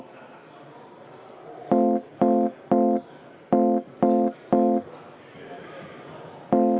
Istung on lõppenud.